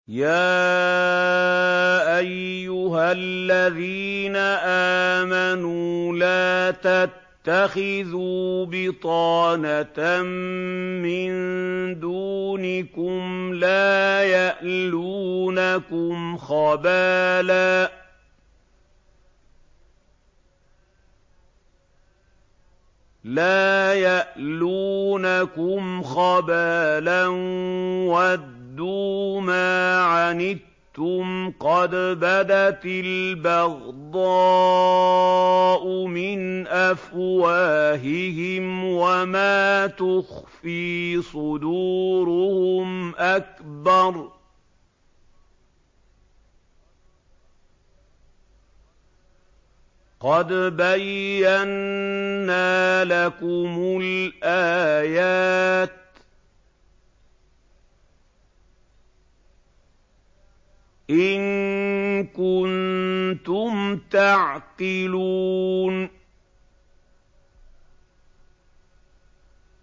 يَا أَيُّهَا الَّذِينَ آمَنُوا لَا تَتَّخِذُوا بِطَانَةً مِّن دُونِكُمْ لَا يَأْلُونَكُمْ خَبَالًا وَدُّوا مَا عَنِتُّمْ قَدْ بَدَتِ الْبَغْضَاءُ مِنْ أَفْوَاهِهِمْ وَمَا تُخْفِي صُدُورُهُمْ أَكْبَرُ ۚ قَدْ بَيَّنَّا لَكُمُ الْآيَاتِ ۖ إِن كُنتُمْ تَعْقِلُونَ